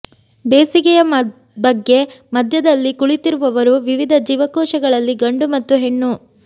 ಬೇಸಿಗೆಯ ಬಗ್ಗೆ ಮಧ್ಯದಲ್ಲಿ ಕುಳಿತಿರುವವರು ವಿವಿಧ ಜೀವಕೋಶಗಳಲ್ಲಿ ಗಂಡು ಮತ್ತು ಹೆಣ್ಣು